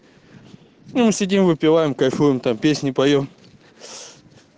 ну мы сидим выпиваем кайфуем там песни поем